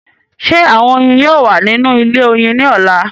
Ṣé àwọn oyin yóò wà nínú ilé oyin ní ọ̀la?